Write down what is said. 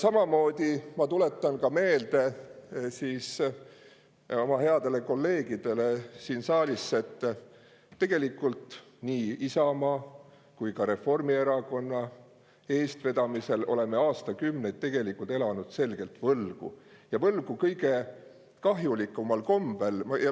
Samamoodi ma tuletan meelde oma headele kolleegidele siin saalis, et tegelikult nii Isamaa kui ka Reformierakonna eestvedamisel oleme aastakümneid elanud selgelt võlgu, ja võlgu kõige kahjulikumal kombel.